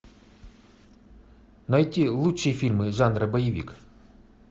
найти лучшие фильмы жанра боевик